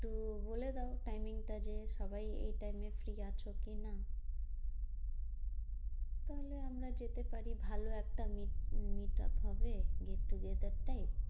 তো বলে দাও timing টা যে সবাই এই time এ free আছো কি না? তাহলে আমরা যেতে পারি ভালো একটা meet~ meetup হবে get togather type.